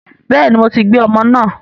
Bẹ́ẹ̀ni, mo ti gbé ọmọ náà